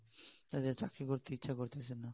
তাতে আর চাকরি করতে ইচ্ছা করতেছে না